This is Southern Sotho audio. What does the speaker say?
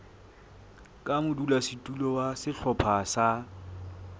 ka modulasetulo wa sehlopha sa